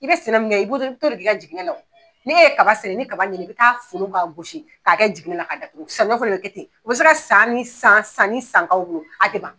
I bɛ sɛnɛ min kɛ i b'o t'o de k'i jiginɛ na o n'i e ye kaba sɛnɛ ni kaba ɲɛ na i bɛ taa folo k'a gosi k'a kɛ jiginɛ la ka datugu saɲɔ fɛnɛ bɛ kɛ ten o bɛ se ka san ni san san ni san k'aw bolo a tɛ ban.